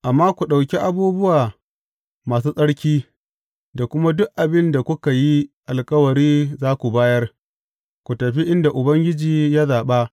Amma ku ɗauki abubuwa masu tsarki, da kuma duk abin da kuka yi alkawari za ku bayar, ku tafi inda Ubangiji ya zaɓa.